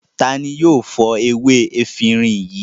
Ta ni yóò fọ ewé efirin yìí?